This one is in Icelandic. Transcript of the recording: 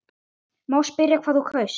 Má spyrja hvað þú kaust?